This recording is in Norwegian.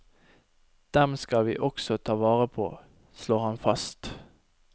Dem skal vi også ta vare på, slår han fast.